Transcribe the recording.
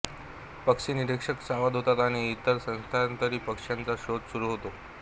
पक्षीनिरीक्षक सावध होतात आणि इतर स्थलांतरी पक्ष्यांचा शोध सुरू होतो